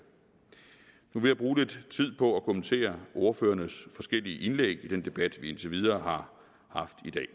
nu vil jeg bruge lidt tid på at kommentere ordførernes forskellige indlæg i den debat vi indtil videre har haft i dag